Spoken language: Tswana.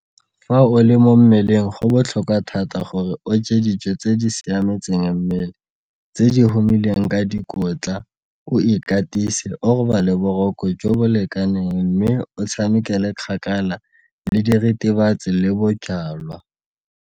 Fa o le mo mmeleng go botlhokwa thata gore o je dijo tse di siametseng mmele tse di humileng ka dikotla, o ikatise, o robale boroko jo bo lekaneng mme o tshamekele kgakala le diritibatsi le bojalwa.